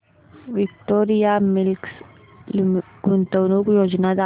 Victoria Mills गुंतवणूक योजना दाखव